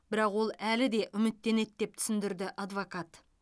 бірақ ол әлі де үміттенеді деп түсіндірді адвокат